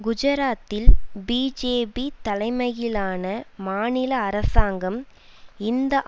குஜராத்தில் பிஜேபி தலைமையிலான மாநில அரசாங்கம் இந்த